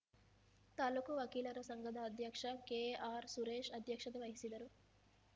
ತಾಲೂಕು ವಕೀಲರ ಸಂಘದ ಅಧ್ಯಕ್ಷ ಕೆಆರ್‌ಸುರೇಶ್‌ ಅಧ್ಯಕ್ಷತೆ ವಹಿಸುವರು